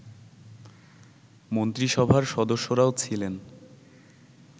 মন্ত্রিসভার সদস্যরাও ছিলেন